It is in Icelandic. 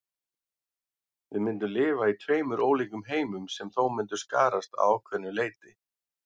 Við myndum lifa í tveimur ólíkum heimum sem þó myndu skarast að ákveðnu leyti.